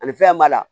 Ani fɛn b'a la